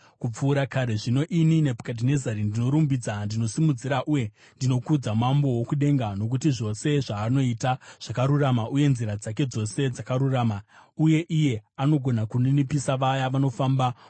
Zvino ini Nebhukadhinezari, ndinorumbidza, ndinosimudzira uye ndinokudza Mambo wokudenga, nokuti zvose zvaanoita zvakarurama uye nzira dzake dzose dzakarurama. Uye iye anogona kuninipisa vaya vanofamba mukuzvikudza.